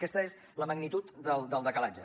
aquesta és la magnitud del decalatge